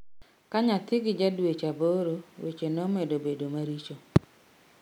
Ka nyathi gi ja dweche aboro weche nomedo bedo maricho